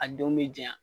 A don bɛ janya